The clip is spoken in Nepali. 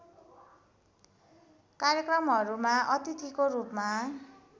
कार्यक्रमहरूमा अतिथिको रूपमा